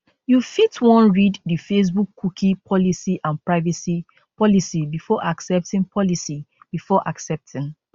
you fit wan read di facebook cookie policy and privacy policy before accepting policy before accepting